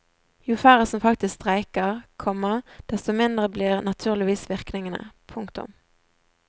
Jo færre som faktisk streiker, komma desto mindre blir naturligvis virkningene. punktum